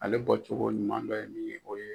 Ale bɔcogo ɲuman dɔ ye min ye o ye.